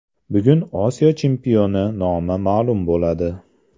Bugun Osiyo chempioni nomi ma’lum bo‘ladi.